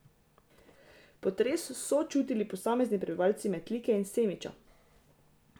Potres so čutili posamezni prebivalci Metlike in Semiča.